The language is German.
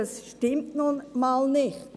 Das stimmt nun mal nicht.